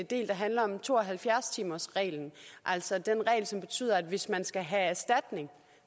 del der handler om to og halvfjerds timersreglen altså den regel som betyder at hvis man skal have erstatning